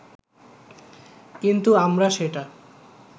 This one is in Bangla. কিন্তু আমরা সেটা